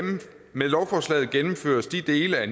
med lovforslaget gennemføres de dele af